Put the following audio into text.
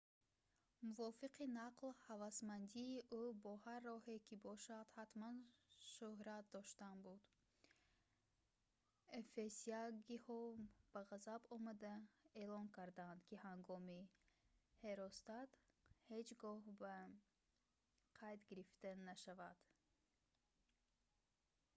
мувофиқи нақл ҳавасмандии ӯ бо ҳар роҳе ки бошад ҳатман шӯҳрат доштан буд эфесягиҳо ба ғазаб омада эълон карданд ки номи ҳеростат ҳеҷ гоҳ ба қайд гирифта нашавад